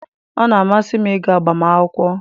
Ọ na-amasị m ịga agbamakwụkwọ